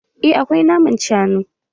Eh akwai naman shanu